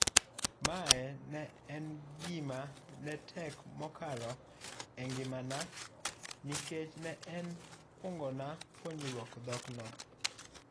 Mae ne en gima netek mokalo engimana, nikech ne en kwongona puonjruok dhok no.